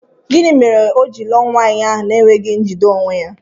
Gịnị mere o ji lụọ nwaanyị ahụ na-enweghi njide onwe ya?